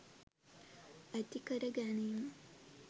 ඇති කරගැනීම